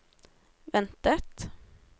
ventet